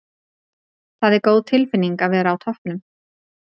Það er góð tilfinning að vera á toppnum.